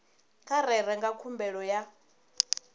vha rere nga khumbelo ya